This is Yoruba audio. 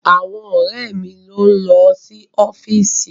Àwọn ọ̀rẹ́ mi ló ń lọ sí ọ́fíìsì.